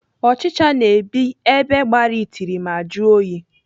Ọchịcha na-ebi ebe gbara itiri ma jụọ oyi.